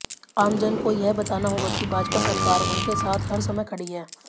आमजन को यह बताना होगा कि भाजपा सरकार उनके साथ हर समय खड़ी है